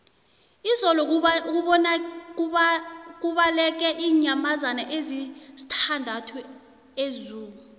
izolo kubaleke iinyamazana ezisithandathu ezoo